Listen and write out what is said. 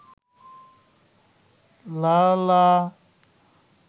লালা